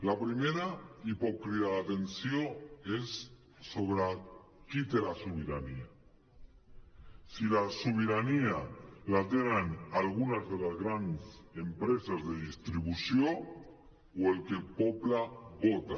la primera i pot cridar l’atenció és sobre qui té la sobirania si la sobirania la tenen algunes de les grans empreses de distribució o el que el poble vota